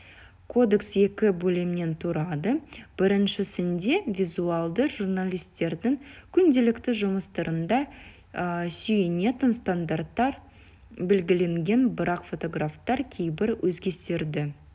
кодекс екі бөлімнен тұрады біріншісінде визуалды журналистердің күнделікті жұмыстарында сүйенетін стандарттар белгіленген бірақ фотографтар кейбір өзгерістерді